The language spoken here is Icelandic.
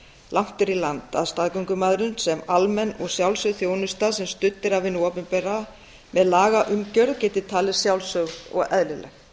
langt er í land að staðgöngumæðrun sem almenn og sjálfsögð þjónusta sem studd er af hinu opinbera með lagaumgjörð geti talist sjálfsögð og eðlileg